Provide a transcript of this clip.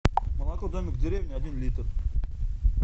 молоко домик в деревне один литр